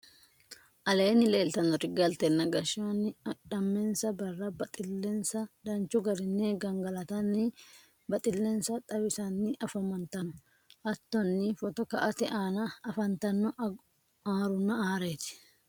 aleenni leelitannori galtenna gashanni adhamensa barra baxxilensa danchu garinni gangalatanni baxxilensa xawissanni afantanno. hattonni photo ka"ate aana afantanno arunna areeti.